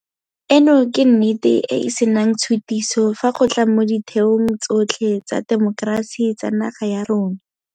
Eno ke nnete e e senang tshutiso fa go tla mo ditheong tsotlhe tsa temokerasi tsa naga ya rona.